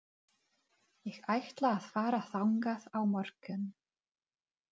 Ég ætla að fara þangað á morgun.